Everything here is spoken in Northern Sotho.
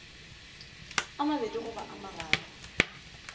a mabedi goba a mararo